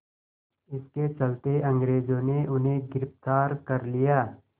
इसके चलते अंग्रेज़ों ने उन्हें गिरफ़्तार कर लिया